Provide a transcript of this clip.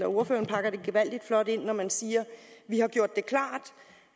ordføreren pakker det gevaldig flot ind når han siger vi har gjort det klart